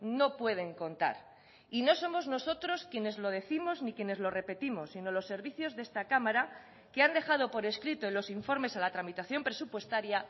no pueden contar y no somos nosotros quienes lo décimos ni quienes lo repetimos sino los servicios de esta cámara que han dejado por escrito en los informes a la tramitación presupuestaria